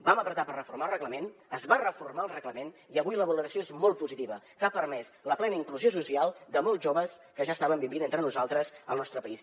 vam fer pressió per reformar el reglament es va reformar el reglament i avui la valoració és molt positiva perquè ha permès la plena inclusió social de molts joves que ja estaven vivint entre nosaltres al nostre país